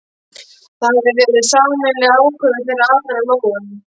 Það hafði verið sameiginleg ákvörðun þeirra allra- Lóu